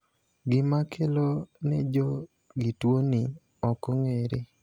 Gima kelo nejogituoni okong`ere.